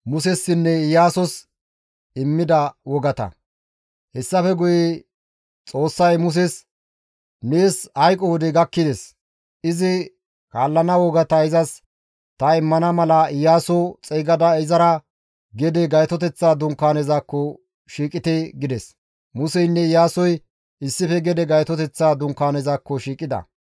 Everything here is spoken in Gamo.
Hessafe guye Xoossay Muses, «Nees hayqo wodey gakkides; izi kaallana wogata izas ta immana mala Iyaaso xeygada izara gede Gaytoteththa Dunkaanezakko shiiqite» gides. Museynne Iyaasoy issife gede Gaytoteththa dunkaanezakko shiiqida.